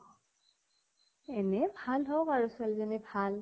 এনে ভাল হ্ওঁক আৰু ছোৱালীজনী ভাল